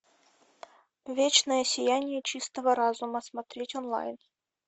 вечное сияние чистого разума смотреть онлайн